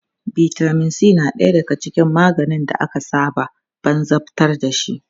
Vitamin C na ɗaya daga cikin maganin da aka saba banzabtar dashi.